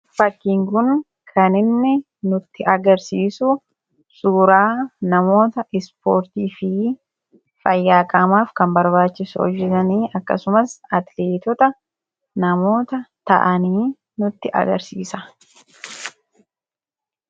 fakiinguun kaninni nutti agarsiisu suuraa namoota ispoortii fi fayyaaqamaaf kan barbaachisu hojetanii akkasumas atiliitota namoota ta'anii nutti agarsiisa